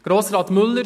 An Grossrat Müller: